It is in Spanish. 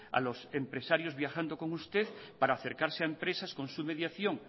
a los empresarios viajando con usted para acercarse a empresas con su mediación